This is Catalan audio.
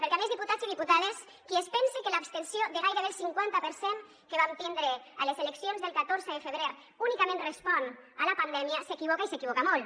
perquè a més diputats i diputades qui es pense que l’abstenció de gairebé el cinquanta per cent que vam tindre a les eleccions del catorze de febrer únicament respon a la pandèmia s’equivoca i s’equivoca molt